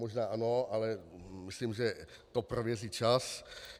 Možná ano, ale myslím, že to prověří čas.